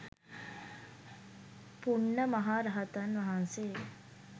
පුණ්ණ මහ රහතන් වහන්සේ